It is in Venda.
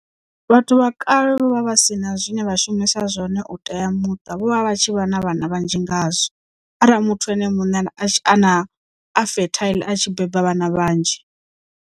Vhathu vha kale vho vha vhasina zwine vha shumisa zwone u tea muṱa vho vha vha tshi vha na vhana vhanzhi ngazwo, arali muthu ene muṋe a na a fertile a tshi beba vhana vhanzhi.